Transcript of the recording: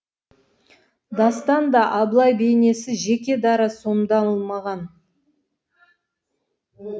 дастанда абылай бейнесі жеке дара сомдалмаған